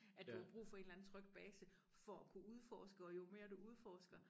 At du har brug for en eller anden tryg base for at kunne udforske og jo mere du udforsker